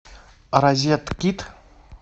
розеткед